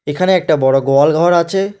এখানে একটা বড় গোয়াল ঘর আছে।